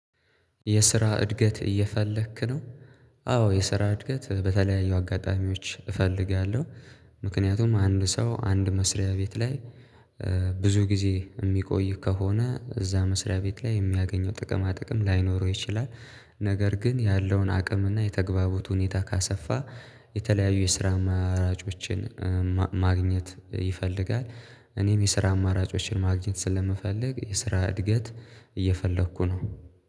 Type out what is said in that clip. የስራ እድገት እየፈለክ ነው? አዎ የስራ እድገት በተለያዩ አጋጣሚዎች እፈልጋለሁ ምክንያቱም አንድ ሰው አንድ መስሪያ ቤት ላይ ብዙ ጊዜ የሚቆይ ከሆነ እዛ መስሪያ ቤት ላይ የሚያገኘው ጥቅማ ጥቅም ላይኖረው ይችላል ነገር ግን ያለውን አቅምና የተግባቡት ሁኔታ ካሰፋ የተለያዩ የስራ አማራጮችን ማግኘት ይፈልጋል እኔም የስራ አማራጮችን ማግኘት ስለምፈልግ የስራ እድገት እየፈለኩ ነው።